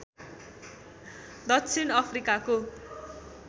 दक्षिण अफ्रिकाको